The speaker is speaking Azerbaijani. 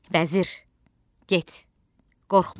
Vəzir, get, qorxma.